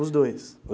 Os dois?